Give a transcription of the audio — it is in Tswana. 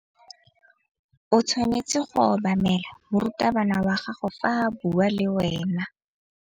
O tshwanetse go obamela morutabana wa gago fa a bua le wena.